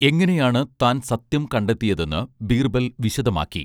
എങ്ങനെയാണ് താൻ സത്യം കണ്ടെത്തിയതെന്ന് ബീർബൽ വിശദമാക്കി